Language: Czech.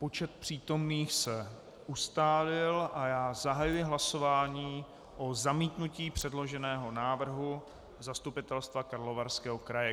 Počet přítomných se ustálil a já zahajuji hlasování o zamítnutí předloženého návrhu Zastupitelstva Karlovarského kraje.